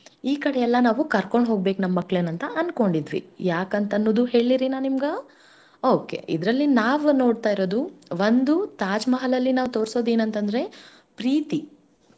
ಈಕಡೆಯೆಲ್ಲಾ ನಾವು ಕರ್ಕೊಂಡ್ ಹೋಗ್ಬೇ ನಮ್ ಮಕ್ಳನಂಥಾ ಅಂದ್ಕೊಂಡಿದ್ವಿ. ಯಾಕಂತನ್ನೋದೂ ಹೇಳ್ಳೇರಿ ನಾ ನಿಮ್ಗಾ? okay ಇದ್ರಲ್ಲಿ ನಾವ್ ನೋಡ್ತಾ ಇರೋದು ಒಂದು Taj Mahal ಅಲ್ಲಿ ನಾವ್ ತೋರ್ಸೋದೇನಂತಂದ್ರೆ ಪ್ರೀತಿ.